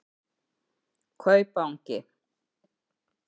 Kaupangi